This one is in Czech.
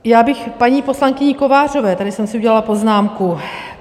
Já bych paní poslankyni Kovářové, tady jsem si udělala poznámku.